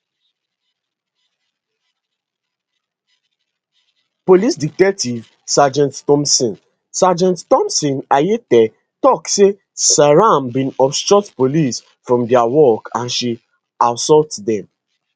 police detective sergeant thomson sergeant thomson ayitey tok say seyram bin obstruct police from dia work and she assault dem